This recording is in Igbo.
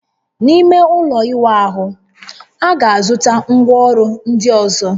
N'ime ụlọ ịwa ahụ, a ga-azụta ngwaọrụ ndị ọzọ